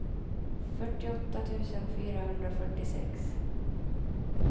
fyrtioåtta tusen fyrahundrafyrtiosex